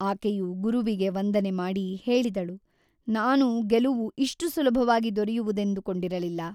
ಆಕೆಯು ಗುರುವಿಗೆ ವಂದನೆ ಮಾಡಿ ಹೇಳಿದಳು ನಾನು ಗೆಲುವು ಇಷ್ಟು ಸುಲಭವಾಗಿ ದೊರೆಯುವುದೆಂದುಕೊಂಡಿರಲಿಲ್ಲ.